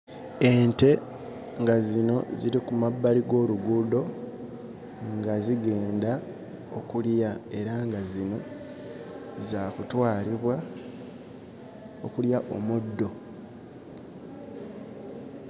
Ente nga zino ziri ku mabbali g'oluguudo nga zigenda okulya era nga zino za kutwalibwa okulya omuddo.